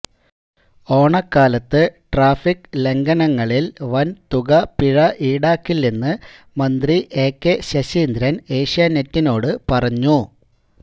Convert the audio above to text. ഓണക്കാലത്ത് ട്രാഫിക് ലംഘനങ്ങളില് വന്തുക പിഴ ഈടാക്കില്ലെന്ന് മന്ത്രി എകെ ശശീന്ദ്രന് ഏഷ്യാനെറ്റിനോട് പറഞ്ഞു